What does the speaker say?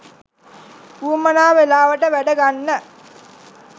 උවමනා වෙලාවට වැඩ ගන්න